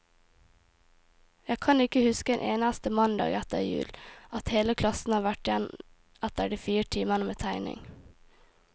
Jeg kan ikke huske en eneste mandag etter jul, at hele klassen har vært igjen etter de fire timene med tegning.